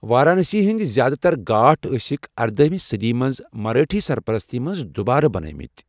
وارانسی ہٕنٛدۍ زِیٛادٕ تر گھاٹ ٲسِکھ اردٲہمہ صٔدی منٛز مرٲٹھۍ سرپرستی منٛز دُوبارٕ بنٲوۍمٕتۍ۔